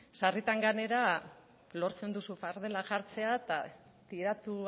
sarritan gainera lortzen duzu fardela jartzea eta tiratu